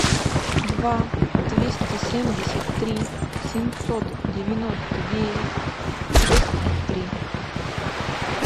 два двести семьдесят три семьсот девяносто девять шесть три